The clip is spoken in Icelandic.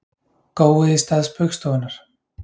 Gói í stað Spaugstofunnar